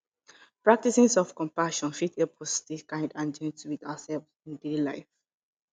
practicing self compassion fit help us stay kind and gentle with ourselves in life